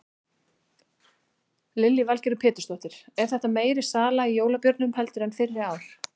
Lillý Valgerður Pétursdóttir: Er þetta meiri sala í jólabjórnum heldur en fyrri ár?